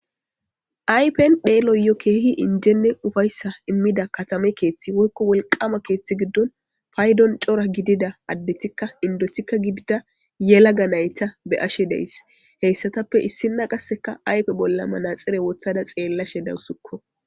Ayfen xeeloyo keehinne injene uffaysa imida katama keththi woykko woliqama keththi giddon payddon cora giddida addetika indotika giddida yelagga nayita be'ashe daysi he issatape issinak qassi ayfe bolla manaxire wotada xeelashe dawusuko